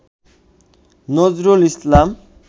Nazrul Islam